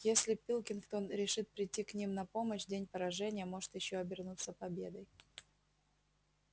если пилкингтон решит прийти к ним на помощь день поражения может ещё обернуться победой